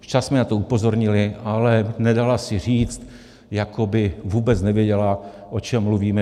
Včas jsme na to upozornili, ale nedala si říct, jako by vůbec nevěděla, o čem mluvíme.